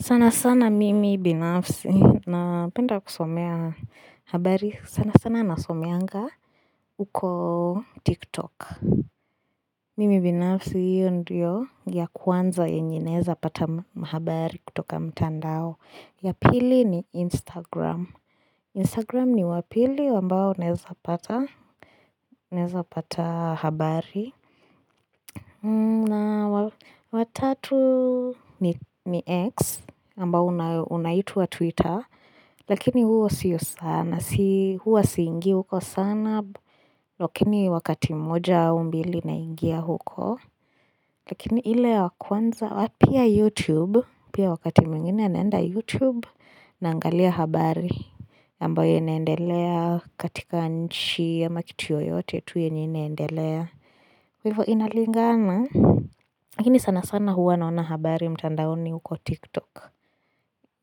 Sana sana mimi binafsi napenda kusomea habari sana sana nasomeanga huko tiktok. Mimi binafsi hiyo ndiyo ya kwanza yenye naeza pata mahabari kutoka mtandao. Ya pili ni Instagram. Instagram ni wa pili ambao naeza pata. Uneza pata habari. Na wa tatu ni X, ambao unaitwa Twitter Lakini huo siyo sana. Si Huwa siingi huko sana Lakini wakati mmoja au mbili naingia huko Lakini ile ya kwanza, pia YouTube. Pia wakati mwingine naenda YouTube Naangalia habari ambayo inaendelea katika nchi ama kitu yoyote tu yenye inaendelea Hivo inalingana lakini sana sana huwa naona habari mtandaoni huko Tiktok